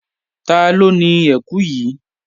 Taló ni ẹkù yìí?